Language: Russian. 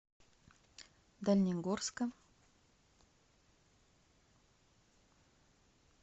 дальнегорска